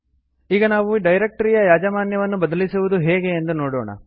ಈಗ ನಾವು ಡೈರೆಕ್ಟರಿಯ ಯಾಜಮಾನ್ಯವನ್ನು ಬದಲಿಸವುದು ಹೇಗೆ ಎಂದು ನೋಡೋಣ